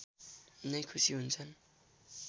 नै खुसि हुन्छन्